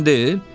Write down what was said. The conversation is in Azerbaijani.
Dayın deyil?